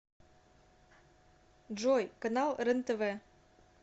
джой канал рен тв